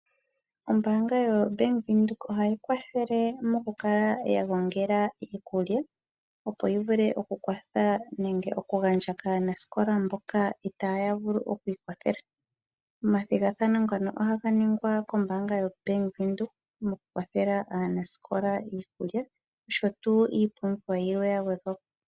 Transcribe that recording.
Ombanga yo Bank Windhoek ohayi kwathele okukala yagongela iikulya, opo yi vule okukwatha nenge okugandja kkanskola mboka itaya vulu okwiikwathela. Omathigathano ngono ohaga ningwa kombanga yo Bank Windhoek mo kukwathela aanaskola iikulya oshotuu iipumbiwa yilwe yagwedhwapo.